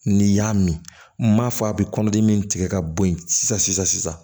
N'i y'a min m'a fɔ a bɛ kɔnɔdimi min tigɛ ka bɔ yen sisan sisan